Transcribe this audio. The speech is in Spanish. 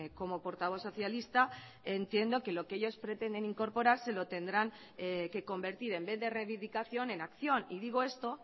como portavoz socialista entiendo que lo que ellos pretenden incorporar se lo tendrán que convertir en vez de reivindicación en acción y digo esto